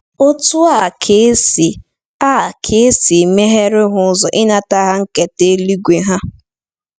Otú a ka e a ka e si meghere ha ụzọ ịnata ihe nketa eluigwe ha.